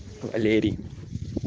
валерий